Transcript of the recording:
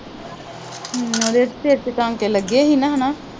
ਉਹਦੇ ਸਿਰ ਚ ਟਾਂਕੇ ਲੱਗੇ ਸੀ ਹੈ ਨਾ